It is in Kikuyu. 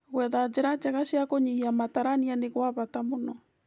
Gwetha njĩra njega cia kũnyihia matarania nĩ gwa bata mũno